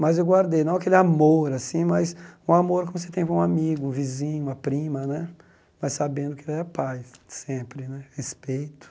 Mas eu guardei, não aquele amor assim, mas um amor como você tem com um amigo, um vizinho, uma prima né, mas sabendo que ele é pai, sempre né, respeito.